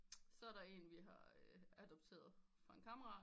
Så er der en vi har adopteret fra en kammerat